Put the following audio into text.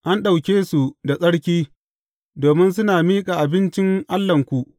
An ɗauke su da tsarki, domin suna miƙa abincin Allahnku.